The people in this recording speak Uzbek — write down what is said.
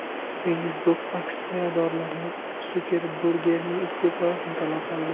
Facebook aksiyadorlari Sukerbergning iste’fosini talab qildi.